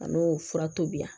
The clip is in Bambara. A n'o fura tobi